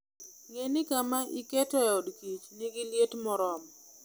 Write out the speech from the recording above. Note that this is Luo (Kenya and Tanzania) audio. Ne ni kama iketoe od kich nigi liet moromo.